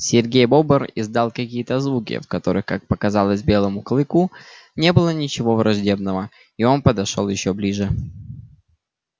серый бобр издал какие то звуки в которых как показалось белому клыку не было ничего враждебного и он подошёл ещё ближе